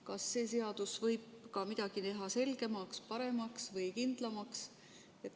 Kas see seadus võib teha ka midagi selgemaks, paremaks või kindlamaks?